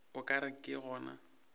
o ka re ke gona